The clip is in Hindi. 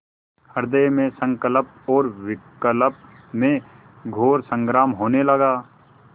हृदय में संकल्प और विकल्प में घोर संग्राम होने लगा